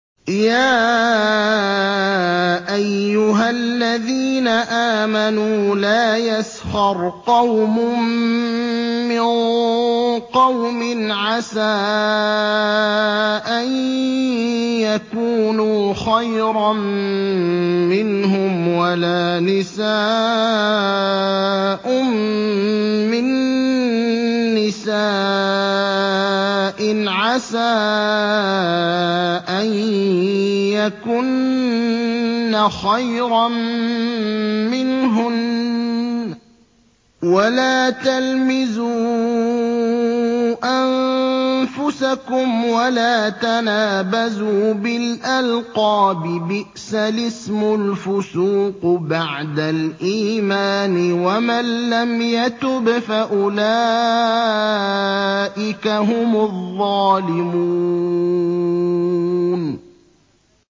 يَا أَيُّهَا الَّذِينَ آمَنُوا لَا يَسْخَرْ قَوْمٌ مِّن قَوْمٍ عَسَىٰ أَن يَكُونُوا خَيْرًا مِّنْهُمْ وَلَا نِسَاءٌ مِّن نِّسَاءٍ عَسَىٰ أَن يَكُنَّ خَيْرًا مِّنْهُنَّ ۖ وَلَا تَلْمِزُوا أَنفُسَكُمْ وَلَا تَنَابَزُوا بِالْأَلْقَابِ ۖ بِئْسَ الِاسْمُ الْفُسُوقُ بَعْدَ الْإِيمَانِ ۚ وَمَن لَّمْ يَتُبْ فَأُولَٰئِكَ هُمُ الظَّالِمُونَ